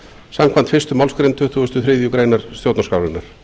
samkvæmt fyrstu málsgrein tuttugustu og þriðju grein stjórnarskrárinnar